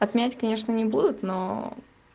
отменять конечно не будут но